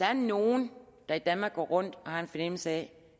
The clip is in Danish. er nogen der i danmark går rundt og har en fornemmelse af